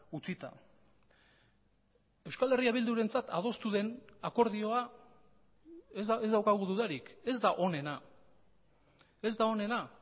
utzita euskal herria bildurentzat adostu den akordioa ez daukagu dudarik ez da onena ez da onena